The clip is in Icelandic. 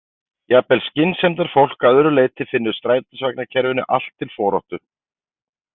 Jafnvel skynsemdarfólk að öðru leyti finnur strætisvagnakerfinu allt til foráttu.